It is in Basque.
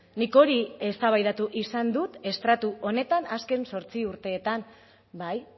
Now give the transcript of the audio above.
nik hori eztabaidatu izan dut estratu honetan azken zortzi urteetan bai